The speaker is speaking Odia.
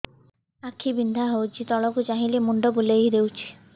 ଆଖି ବିନ୍ଧା ହଉଚି ତଳକୁ ଚାହିଁଲେ ମୁଣ୍ଡ ବୁଲେଇ ଦଉଛି